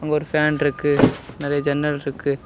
ஒரு பேன்ருக்கு நெறைய ஜன்னல் இருக்கு.